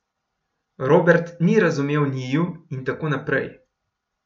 Robert ni razumel njiju in tako naprej.